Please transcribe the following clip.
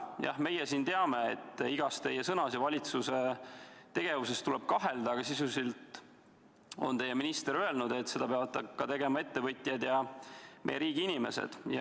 Jah, meie siin teame, et igas teie sõnas ja tegevuses tuleb kahelda, aga sisuliselt on teie minister öelnud, et seda peavad tegema ka ettevõtjad ja meie riigi inimesed.